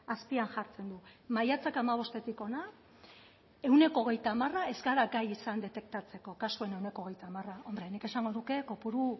azpian jartzen du maiatzak hamabostetik hona ehuneko hogeita hamar ez gara gai izan detektatzeko kasuen ehuneko hogeita hamar hombre nik esango nuke kopuru